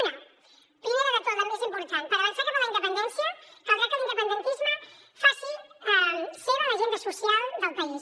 una primer de tot la més important per avançar cap a la independència caldrà que l’independentisme faci seva l’agenda social del país